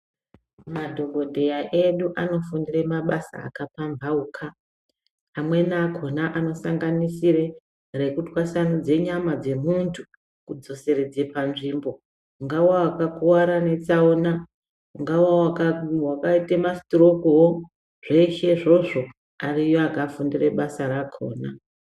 Madhogodheya edu anofundire mabasa akapamhauka. Amweni akona anosanganisire rekutwasanidza nyama dzemuntu kudzoseredze panzvimbo. Ungava vakakuvara netsaona ungava vakaita masitirokuvo zveshe izvozvo ariyo akafundira basa rakona.